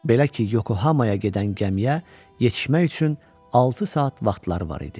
Belə ki, Yokohamaya gedən gəmiyə yetişmək üçün altı saat vaxtları var idi.